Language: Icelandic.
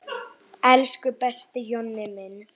Elsku besti Jonni minn.